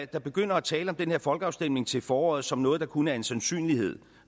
der begynder at tale om den her folkeafstemning til foråret som noget der kun er en sandsynlighed